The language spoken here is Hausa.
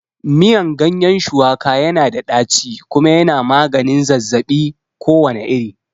Miyan ganyen shuwaka yana da ɗaci kuma yana magani zazzabi kowane iri